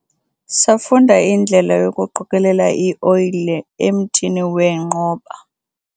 safunda indlela yokuqokelela ioyile emthini weenqoba